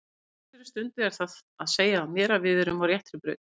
Á þessari stundu er það að segja mér að við erum á réttri braut.